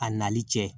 A nali cɛ